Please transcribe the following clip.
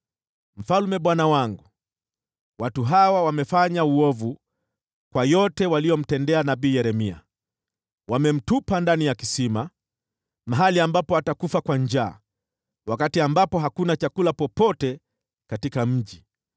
“Mfalme bwana wangu, watu hawa wamefanya uovu kwa yote waliomtendea nabii Yeremia. Wamemtupa ndani ya kisima, mahali ambapo atakufa kwa njaa wakati ambapo hakuna chakula popote katika mji.”